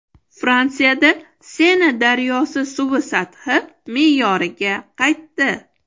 Fransiyada Sena daryosi suvi sathi me’yoriga qaytdi.